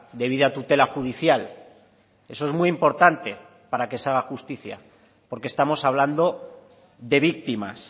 debida tutela judicial eso es muy importante para que se haga justicia porque estamos hablando de víctimas